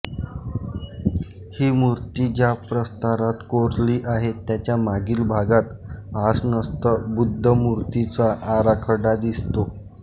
ही मूर्ती ज्या प्रस्तरात कोरली आहे त्याच्या मागील भागात आसनस्थ बुध्दमूर्तीचा आराखडा दिसतो